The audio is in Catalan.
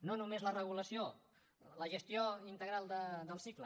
no només la regulació la gestió integral del cicle